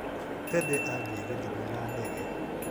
Tedy athiĩ gĩthumo na ndege.